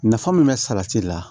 Nafa min bɛ sarati la